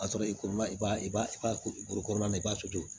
A sɔrɔ i ko i b'a i b'a i b'a koro na i b'a to yen